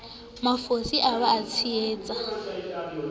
mafosisa o be o tshehetse